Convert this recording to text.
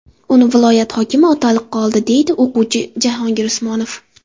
Uni viloyat hokimi otaliqqa oldi, deydi o‘quvchi Jahongir Usmonov .